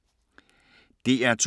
DR2